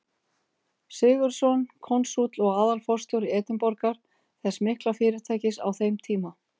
Sigurðsson, konsúll og aðalforstjóri Edinborgar, þess mikla fyrirtækis á þeim tíma.